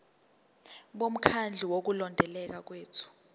bomkhandlu wokulondeka kwethu